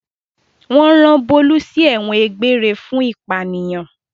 Wọ́n rán Bólú sí ẹ̀wọ̀n egbére fún ìpànìyàn.